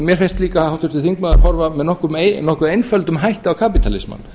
mér finnst líka háttvirtur þingmaður horfa með nokkuð einföldum hætti á kapítalismann